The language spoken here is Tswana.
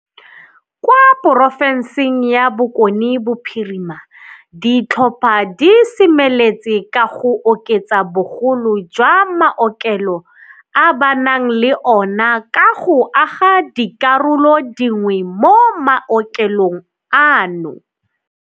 Kwa porofenseng ya Bokone Bophirima, ditlhopha di semeletse ka go oketsa bogolo jwa maokelo a ba nang le ona ka go aga dikarolo dingwe mo maokelong ano.